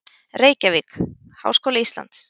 Reykjavík: Háskóli Íslands.